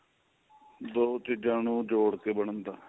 ਦੋ ਚੀਜਾਂ ਨੂੰ ਜੁੜਕੇ ਬਣਦਾ